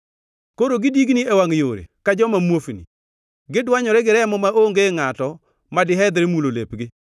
Koro gidigni e wangʼ yore ka joma muofni. Gidwanyore gi remo maonge ngʼato madihedhre mulo lepgi.